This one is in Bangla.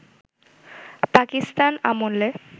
পাকিস্তান আমলে